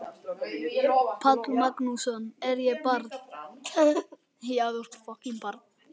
Páll Magnússon: Er ég barn?